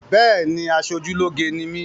Béèni, aṣojúlóge ni mí